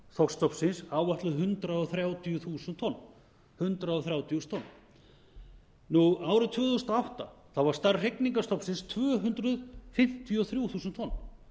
þorskstofnsins áætluð hundrað þrjátíu þúsund tonn árið tvö þúsund og átta var stærð hrygningarstofnsins tvö hundruð fimmtíu og þrjú þúsund tonn